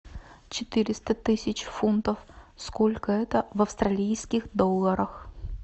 четыреста тысяч фунтов сколько это в австралийских долларах